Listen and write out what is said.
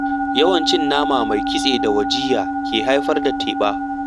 Yawan cin nama mai kitse da wajiyya ke haifar da teɓa.